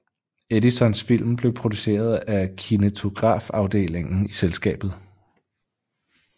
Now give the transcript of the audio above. Edisons film blev produceret af Kinetografafdelingen i selskabet